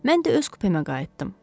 Mən də öz kupəmə qayıtdım.